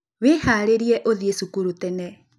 Wĩharĩrie ũthiĩ cukuru tene